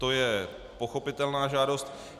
To je pochopitelná žádost.